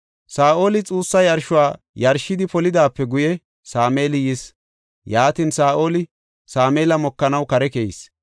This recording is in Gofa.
Saa7oli xuussa yarshuwa yarshidi polidaape guye Sameeli yis. Yaatin, Saa7oli Sameela mokanaw kare keyis.